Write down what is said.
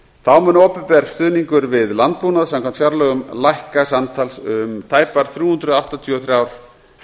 þá mun opinber stuðningur við landbúnað samkvæmt fjárlögum lækka samtals um tæpar þrjú hundruð áttatíu og þrjár